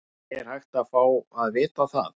Er hægt að fá að vita það?